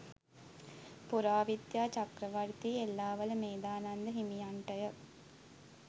පුරාවිද්‍යා චක්‍රවර්ති එල්ලාවල මේධානන්ද හිමියන්ට ය.